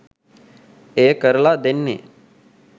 එය කරලා දෙන්නේ